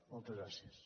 moltes gràcies